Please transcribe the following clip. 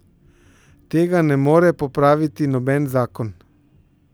Tega ne more popraviti noben zakon.